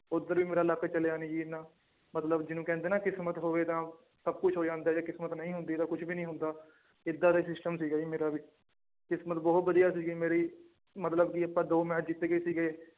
ਉੱਧਰ ਵੀ ਮੇਰਾ luck ਚੱਲਿਆ ਨੀ ਜੀ ਇੰਨਾ ਮਤਲਬ ਜਿਹਨੂੰ ਕਹਿੰਦੇ ਨਾ ਕਿਸਮਤ ਹੋਵੇ ਤਾਂ ਸਭ ਕੁਛ ਹੋ ਜਾਂਦਾ ਜੇ ਕਿਸਮਤ ਨਹੀਂ ਹੁੰਦੀ ਤਾਂ ਕੁਛ ਵੀ ਨੀ ਹੁੰਦਾ, ਏਦਾਂ ਦਾ system ਸੀਗਾ ਜੀ ਮੇਰਾ ਵੀ, ਕਿਸਮਤ ਬਹੁਤ ਵਧੀਆ ਸੀਗੀ ਮੇਰੀ ਮਤਲਬ ਕਿ ਆਪਾਂ ਦੋ match ਜਿੱਤ ਗਏ ਸੀਗੇ।